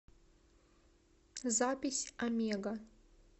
запись омега